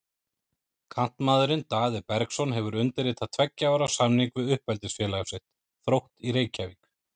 Kantmaðurinn Daði Bergsson hefur undirritað tveggja ára samning við uppeldisfélag sitt, Þrótt í Reykjavík.